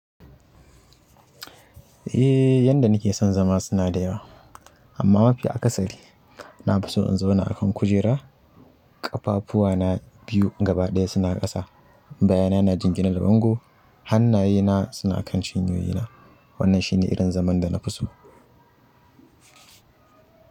Eh yanda nike son zama suna da yawa amma mafi akasari na fi so in zauna a kan kujera, ƙafafuwa na biyu gabaɗaya suna ƙasa, bayana na jingina da bango hannaye na suna kan shinyoyi na. Wannan shine irin zaman da na fi so.